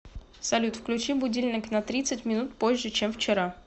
салют включи будильник на тридцать минут позже чем вчера